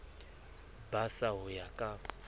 ba srsa ho ya ka